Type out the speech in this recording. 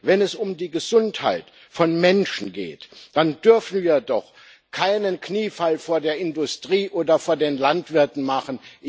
Wenn es um die Gesundheit von Menschen geht, dann dürfen wir doch keinen Kniefall vor der Industrie oder vor den Landwirten machen.